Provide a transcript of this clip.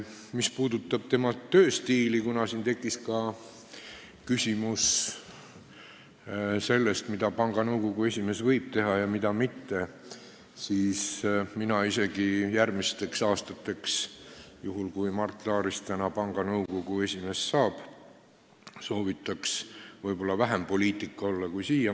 Mis puudutab tööstiili – siin tekkis ka küsimus sellest, mida panga nõukogu esimees võib teha ja mida mitte –, siis mina soovitaks tal järgmistel aastatel, juhul kui Mart Laarist täna panga nõukogu esimees saab, olla vähem poliitik kui seni.